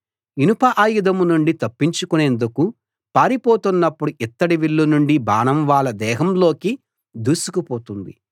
ఇనప ఆయుధం నుండి తప్పించుకొనేందుకు పారిపోతున్నప్పుడు ఇత్తడి విల్లు నుండి బాణం వాళ్ళ దేహాల్లోకి దూసుకుపోతుంది